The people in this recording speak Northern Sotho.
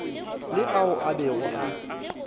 le ao a bego a